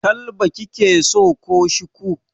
Kalba kike so ko Shiku?